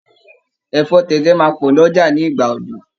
Ẹ̀fọ́ tẹ̀tẹ̀ máa pọ̀ ní Ọjà ní ìgbà òjò.